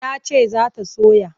Ta ce za ta soya.